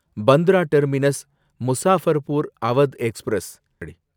Bandra terminus Muzaffarpur Awadh express